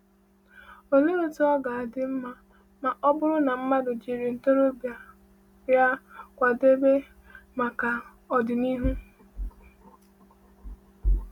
Olee otú ọ ga-adị mma ma ọ bụrụ na mmadụ jiri ntorobịa ya kwadebe maka ọdịnihu!